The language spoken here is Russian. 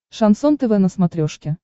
шансон тв на смотрешке